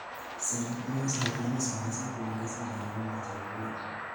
Sera bora za kilimo zinaweza kuongeza usalama wa chakula.